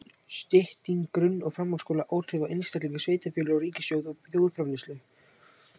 Stytting grunn- og framhaldsskóla: Áhrif á einstaklinga, sveitarfélög, ríkissjóð og þjóðarframleiðslu.